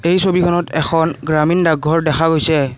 এই ছবিখনত এখন গ্ৰামীণ ডাক ঘৰ দেখা গৈছে।